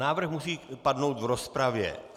Návrh musí padnout v rozpravě.